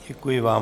Děkuji vám.